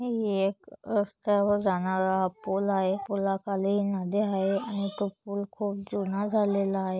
हे एक रस्त्यावर जाणारा पुल आहे फुलाखाली नदी आहे आणि तो पुल खूप जुना झालेला आहे.